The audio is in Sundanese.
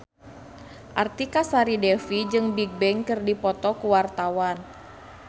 Artika Sari Devi jeung Bigbang keur dipoto ku wartawan